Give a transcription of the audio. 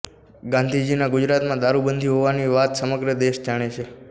ગાંધીજીના ગુજરાતમાં દારૂબંધી હોવાની વાત સમગ્ર દેશ જાણે છે